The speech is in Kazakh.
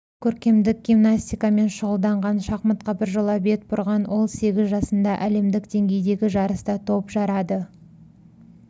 көркемдік гимнастикамен шұғылданған шахматқа біржола бет бұрған ол сегіз жасында әлемдік деңгейдегі жарыста топ жарады